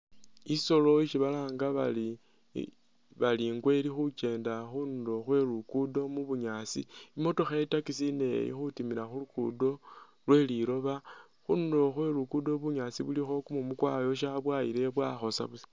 Isoolo isi balanga bari Ingwe ilikhukyenda khundulo khwe luguddo mu'bunyaasi, i'motokha i'taxi nayo ili khutimila khulugudo kheliloba khundulo khwe luguddo bunyaasi bilikho kumumu kwayosa bwayilayo beakhosa buusa